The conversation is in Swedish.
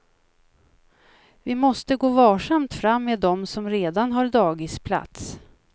Vi måste gå varsamt fram med dem som redan har dagisplats.